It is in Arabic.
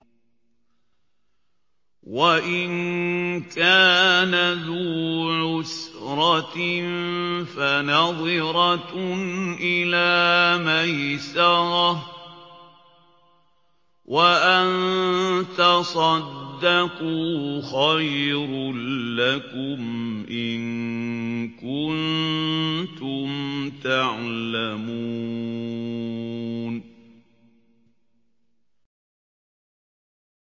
وَإِن كَانَ ذُو عُسْرَةٍ فَنَظِرَةٌ إِلَىٰ مَيْسَرَةٍ ۚ وَأَن تَصَدَّقُوا خَيْرٌ لَّكُمْ ۖ إِن كُنتُمْ تَعْلَمُونَ